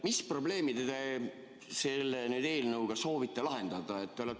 Mis probleeme te selle eelnõuga soovite lahendada?